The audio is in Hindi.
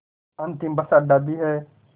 अंतिम बस अड्डा भी है